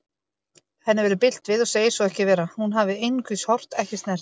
Henni verður bilt við og segir svo ekki vera, hún hafi einungis horft, ekki snert.